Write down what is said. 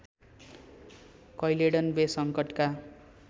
Caledon Bay सङ्कटका